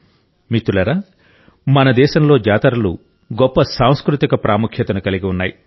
మిత్రులారా మన దేశంలో జాతరలు గొప్ప సాంస్కృతిక ప్రాముఖ్యతను కలిగి ఉన్నాయి